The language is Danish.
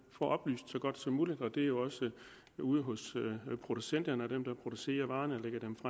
oplyst så godt som muligt og det er jo også ude hos producenterne dem der producerer varerne